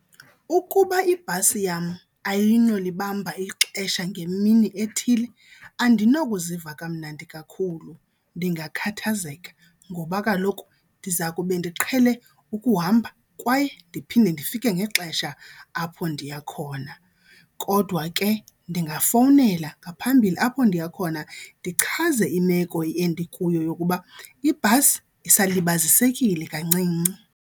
Ukuba ibhasi yam ayinolibamba ixesha ngemini ethile andinokuziva kamnandi kakhulu ndingakhathazeka ngoba kaloku ndiza kube ndiqhele ukuhamba kwaye ndiphinde ndifike ngexesha apho ndiya khona. Kodwa ke ndingafowunela ngaphambili apho ndiya khona ndichaze imeko endikuyo yokuba ibhasi isalibazisekile kancinci.